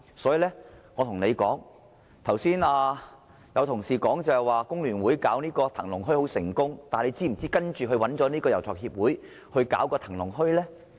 所以，我要對他說，剛才有同事說香港工會聯合會把騰龍墟辦得很成功，但他是否知道它後來找了遊樂場協會營運騰龍墟呢？